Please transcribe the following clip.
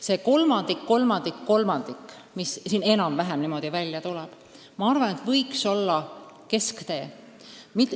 See kolmandik-kolmandik-kolmandik, mis siin enam-vähem välja tuleb, võiks olla kesktee.